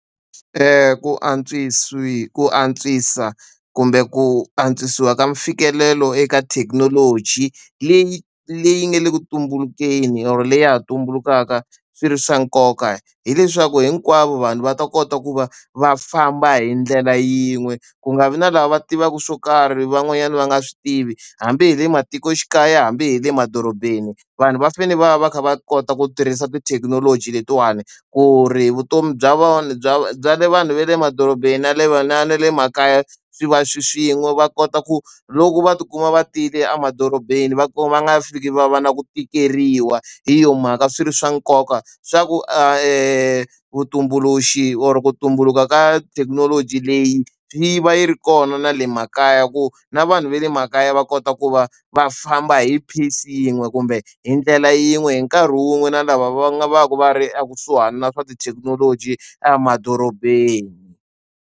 Ku ku antswisa kumbe ku antswisiwa ka mfikelelo eka thekinoloji leyi leyi nga le ku tumbuluxeni or leyi ha tumbulukaka, swi ri swa nkoka hileswaku hinkwavo vanhu va ta kota ku va va famba hi ndlela yin'we. Ku nga vi na lava va tivaka swo karhi van'wanyana va nga swi tivi, hambi hi le matikoxikaya hambi hi le madorobeni vanhu va fanele va va va kha va kota ku tirhisa tithekinoloji letiwani. Ku ri vutomi bya bya bya le vanhu ve le emadorobeni na le na le makaya swi va swilo swin'we, va kota ku loko va tikuma va tiyile emadorobeni va va nga fiki va va na ku tikeriwa. Hi yona mhaka swi ri swa nkoka xa ku vutumbuluxi or ku tumbuluka ka thekinoloji leyi yi va yi ri kona na le makaya, ku na vanhu va le makaya va kota ku va va famba hi pace yin'we kumbe hi ndlela yin'we hi nkarhi wun'we na lava va nga va ka va ri ekusuhani na swa tithekinoloji emadorobeni.